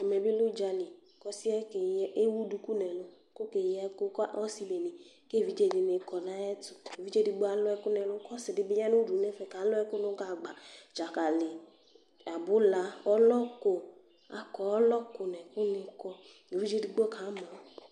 Ɛmɛ bi lɛ udzali Ku ɔsi yɛ ewu duku nu ɛlu ku ɔke yi ɛku ku ɔsi bene ku evidze dini kɔ nu ayɛtu Evidze edigbo alu ɛku nu ɛlu ku ɔsi di bi ya nu udu nu ɛfɛ ku alu ɛku nu gagba dzakali, abula, ɔlɔku Laku ɔlɔku nu ɛku ni kɔ Evidze edigbo kamɔ